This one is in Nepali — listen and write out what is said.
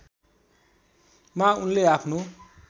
मा उनले आफ्नो